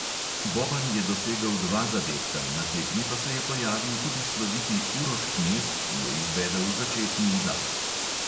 Boban je dosegel dva zadetka, na tekmi pa se je pojavil tudi sloviti uroš knez, ki je izvedel začetni udarec.